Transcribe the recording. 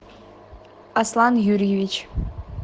аслан юрьевич